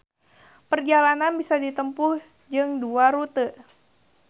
Perjalanan bisa ditempuh jeung dua rute